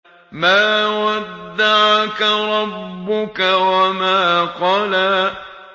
مَا وَدَّعَكَ رَبُّكَ وَمَا قَلَىٰ